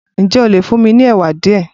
Ǹjẹ́ ó lè fún mi ní ẹ̀wà díẹ̀?